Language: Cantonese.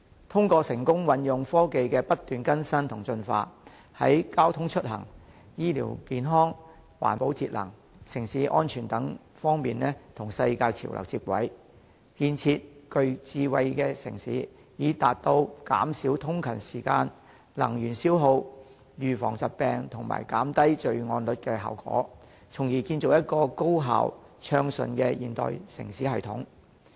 通過成功運用日新月異的科技，香港能在交通出行、醫療健康、環保節能、城市安全等方面與世界潮流接軌，建設具智慧的城市，以達到減少通勤時間、能源消耗、預防疾病及減低罪案率的效果，從而建立一個高效、暢順的現代城市系統。